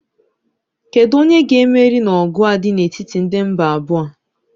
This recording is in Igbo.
Kedu onye ga-emeri n'ọgụ a dị n'etiti ndị mgba abụọ a?